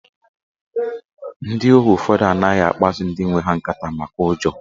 Ndị ohu ụfọdụ anaghị akpaso ndị nwe ha nkata maka ụjọ